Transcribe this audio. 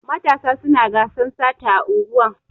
Matasa suna gasan sata a unguwan.